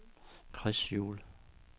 Chris Juhl